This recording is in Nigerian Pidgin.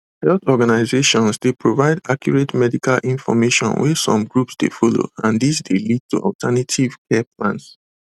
health organizations dey provide accurate medical information wey some groups dey follow and dis dey lead to alternative care plans